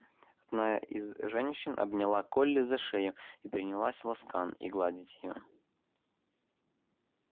одна из женщин обняла колли за шею и принялась ласкан и гладить её